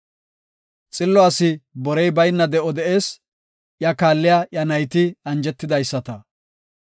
Xillo asi borey bayna de7o de7ees; iya kaalliya iya nayti anjetidaysata.